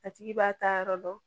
A tigi b'a taa yɔrɔ dɔn